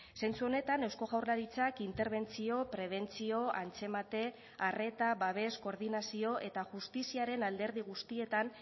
zentzu honetan eusko jaurlaritzak interbentzio prebentzio antzemate arreta babes koordinazio eta justiziaren alderdi guztietan